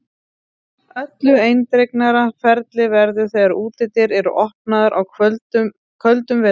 Öllu eindregnara ferli verður þegar útidyr eru opnaðar á köldum vetrardegi.